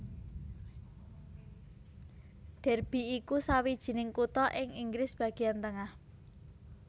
Derby iku sawijining kutha ing Inggris bagéan tengah